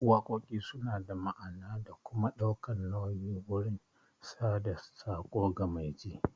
Waƙoƙi suna da ma'ana da kuma ɗaukan nauyi wurin sada tsako ga mai ji